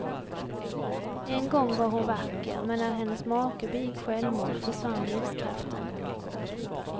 En gång var hon vacker, men när hennes make begick självmord försvann livskraften.